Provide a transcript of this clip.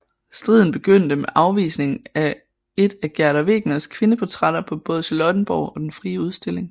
Striden begyndte med afvisningen af et af Gerda Wegeners kvindeportrætter på både Charlottenborg og Den Frie Udstilling